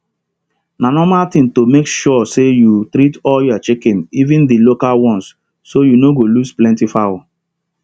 na nomal thing to make sure say you treat all your chicken even dey local ones so you no go lose plenty fowl